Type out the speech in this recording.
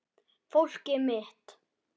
Fólkið mitt